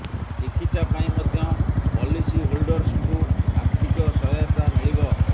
ଚିକିତ୍ସା ପାଇଁ ମଧ୍ୟ ପଲିସି ହୋଲ୍ଡରସଙ୍କୁ ଆର୍ଥିକ ସହାୟତା ମିଳିବ